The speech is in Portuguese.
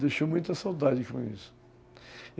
Deixou muita saudade com isso.